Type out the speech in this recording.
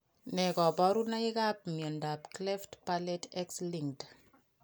Ne kaparunaik ap miondop cleft palate x linked?